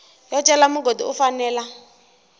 yo cela mugodi u fanela